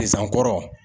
kɔrɔ